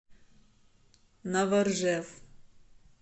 новоржев